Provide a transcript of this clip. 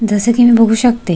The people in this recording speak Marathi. जसं की मी बघू शकते--